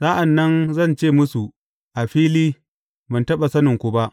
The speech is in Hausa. Sa’an nan zan ce musu a fili, Ban taɓa saninku ba.